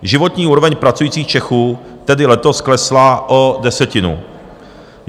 Životní úroveň pracujících Čechů tedy letos klesla o desetinu.